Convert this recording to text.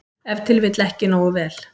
Ef til vill ekki nógu vel.